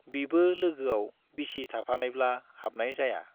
बिबो लोगोआव बिसि थाफानायब्ला हाबनाय जाया।